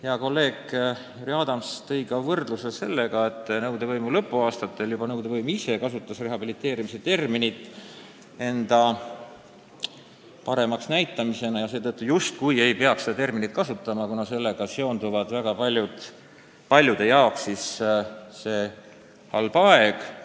Hea kolleeg härra Adams märkis, et nõukogude võimu lõpuaastatel kasutas nõukogude võim ise rehabiliteerimise terminit, et end paremas valguses näidata, ja seetõttu justkui ei maksaks seda terminit kasutada, kuna paljudele seondub sellega see halb aeg.